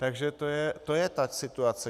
Takže to je ta situace.